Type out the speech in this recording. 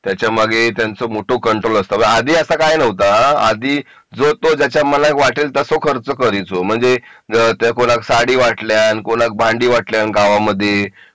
त्याच्यामागे त्यांचं मोठं कंट्रोल असतो आधी असा काही नव्हता आधी जो तो ज्याच्या मनाला वाटेल तसं खर्च करतो म्हणजे कोणा क साडी वाटल्या कोणा त भांडी वाटल्या गावाकडे